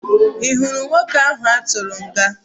Ị hụrụ nwoke ahụ a tụrụ nga?